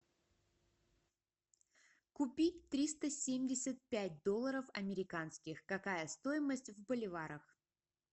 купить триста семьдесят пять долларов американских какая стоимость в боливарах